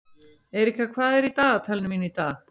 Erika, hvað er á dagatalinu mínu í dag?